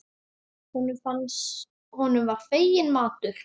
Honum var fenginn matur.